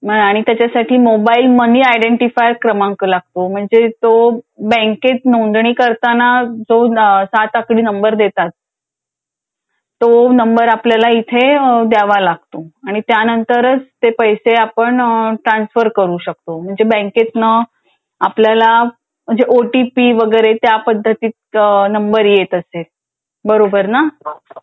मग आणि त्याच्यासाठी मोबाईल मनी आयडेंटीफाय क्रमांक लागतो. म्हणजे तो बँकेत नोंदणी करताना.जो सात आकडी नंबर देतात. तो नंबर आपल्याला.इथे द्यावा लागतो.आणि